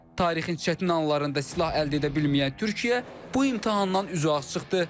Tarixin çətin anlarında silah əldə edə bilməyən Türkiyə bu imtahandan üzü ağ çıxdı.